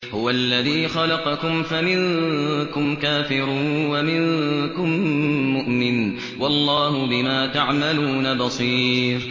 هُوَ الَّذِي خَلَقَكُمْ فَمِنكُمْ كَافِرٌ وَمِنكُم مُّؤْمِنٌ ۚ وَاللَّهُ بِمَا تَعْمَلُونَ بَصِيرٌ